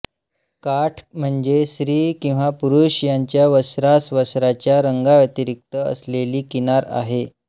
काठ म्हणजे स्त्री किंवा पुरुष यांच्या वस्त्रासवस्त्राच्या रंगाव्यतिरिक्त असलेली किनार आहे